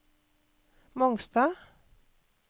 Mongstad